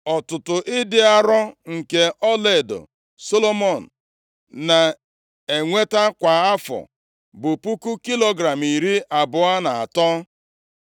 Ọtụtụ ịdị arọ nke ọlaedo Solomọn na-enweta kwa afọ bụ puku kilogram iri abụọ na atọ, + 10:14 Narị talenti isii na talenti iri isii na isii